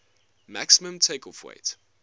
maximum takeoff weight